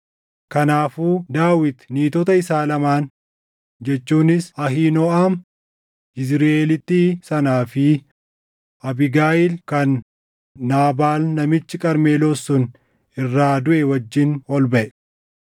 Kanaafuu Daawit niitota isaa lamaan jechuunis Ahiinooʼam Yizriʼeelittii sanaa fi Abiigayiil kan Naabaal namichi Qarmeloos sun irraa duʼe wajjin ol baʼe.